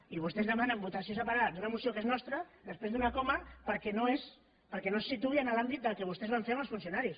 i vostès demanen votació separada d’una moció que és nostra després d’una coma perquè no es situï en l’àmbit del que vostès van fer amb els funcionaris